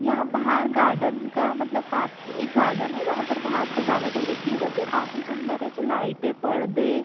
यह बाहर गार्डन का मतलब का काफ एक गार्डन है जहां पर बाहर सजावट हो रखी है जो कि काफी सुन्दर है जो लाइटे पर्दे --